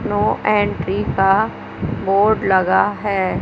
No entry का board लगा है।